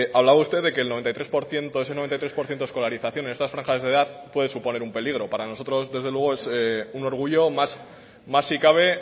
hablaba usted de que ese noventa y tres por ciento de escolarización en estas franjas de edad puede suponer un peligro para nosotros desde luego es un orgullo más si cabe